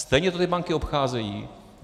Stejně to ty banky obcházejí.